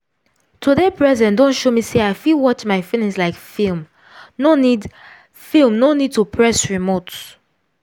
to dey present don show me say i fit watch my feelings like film no need film no need to press remote.